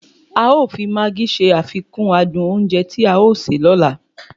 A o fi maagí se àfikùn adùn oúnjẹ tí a ó sè lóla